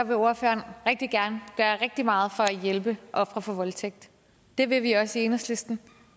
vil ordføreren rigtig gerne gøre rigtig meget for at hjælpe ofre for voldtægt det vil vi også i enhedslisten og